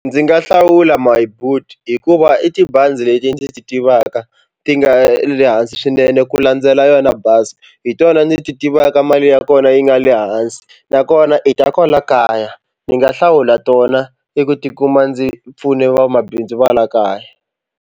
Ndzi nga hlawula My Boet hikuva i tibazi leti ndzi ti tivaka ti nga le hansi swinene ku landzela yona Buscor hi tona ndzi ti tivaka mali ya kona yi nga le hansi nakona i ta kwala kaya ndzi nga hlawula tona i ku tikuma ndzi pfune vamabindzu va la kaya.